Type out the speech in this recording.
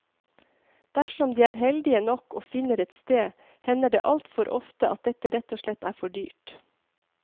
Dersom de er heldige nok, og finner et sted, hender det altfor ofte at dette rett og slett er for dyrt.